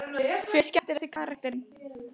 Hver er skemmtilegasti karakterinn?